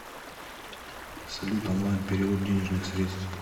салют онлайн перевод денежных средств